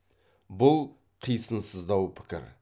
бұл қисынсыздау пікір